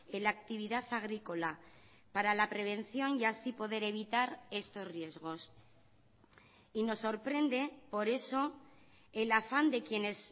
en la actividad agrícola para la prevención y así poder evitar estos riesgos y nos sorprende por eso el afán de quienes